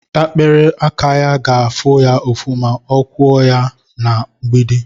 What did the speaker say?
ikperé aka ya ga-afụ ya ụfụ ma ọ kụọ ya na mgbidi